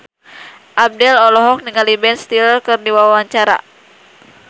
Abdel olohok ningali Ben Stiller keur diwawancara